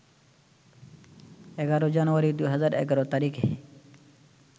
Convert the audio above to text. ১১ জানুয়ারি ২০১১ তারিখে